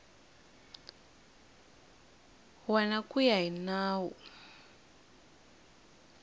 wana ku ya hi nawu